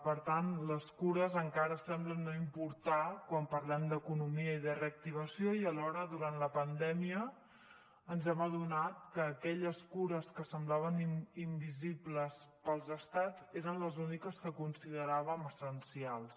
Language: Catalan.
per tant les cures encara semblen no importar quan parlem d’economia i de reactivació i alhora durant la pandèmia ens hem adonat que aquelles cures que semblaven invisibles per als estats eren les úniques que consideràvem essencials